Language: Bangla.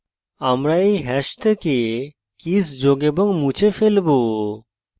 আমরা we hash থেকে কীস যোগ এবং মুছে ফেলবো